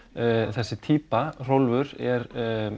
þessi týpa Rolf er